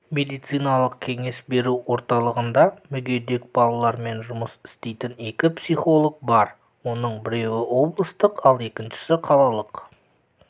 медициналық-кеңес беру орталығында мүгедек балалармен жұмыс істейтін екі психолог бар оның біреуі облыстық ал екіншісі қалалық